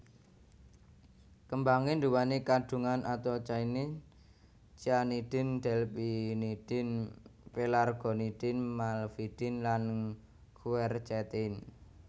Kembangé nduwèni kandhungan anthocyanins cyanidin delphinidin pelargonidin malvidin lan quercetin